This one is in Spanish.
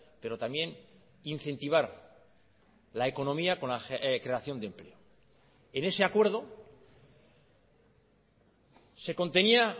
pero también incentivar la economía con la creación de empleo en ese acuerdo se contenía